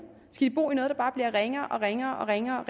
skal de bo i noget der bare bliver ringere og ringere og ringere